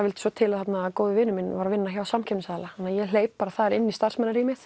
vildi svo til að góðvinur minn var að vinna hjá samkeppnisaðila þannig að ég hleyp þar inn í